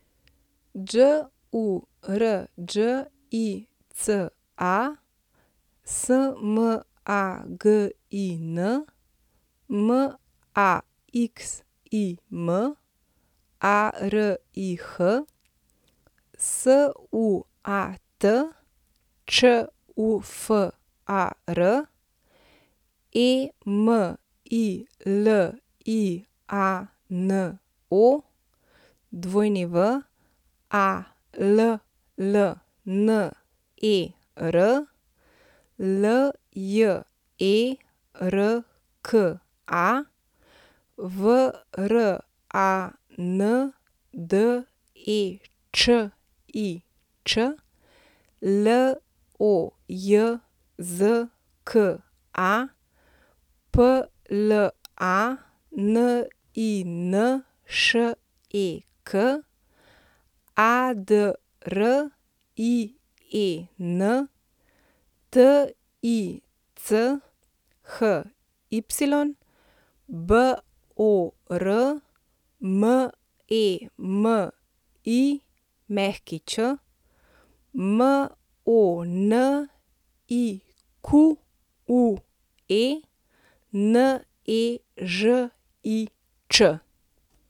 Đurđica Smagin, Maxim Arih, Suat Čufar, Emiliano Wallner, Ljerka Vrandečič, Lojzka Planinšek, Adrien Tichy, Bor Memić, Monique Nežič.